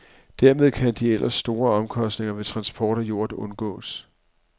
Dermed kan de ellers store omkostninger ved transport af jord undgås.